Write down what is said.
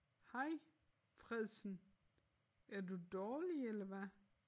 Hej Fredsen er du dårlig eller hvad?